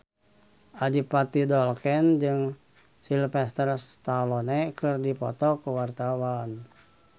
Adipati Dolken jeung Sylvester Stallone keur dipoto ku wartawan